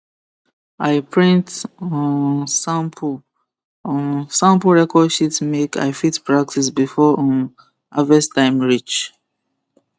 i print um sample um sample record sheet make i fit practice before um harvest time reach